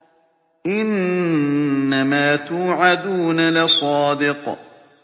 إِنَّمَا تُوعَدُونَ لَصَادِقٌ